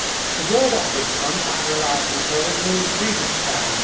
The word ombudsman', I am reliably told, means grievance man'.